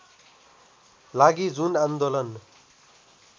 लागि जुन आन्दोलन